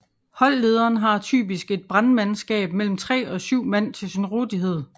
Holdlederen har typisk et brandmandskab mellem tre og syv mand til sin rådighed